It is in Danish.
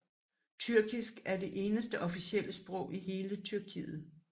Tyrkisk er det eneste officielle sprog i hele Tyrkiet